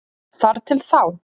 Þar til þá.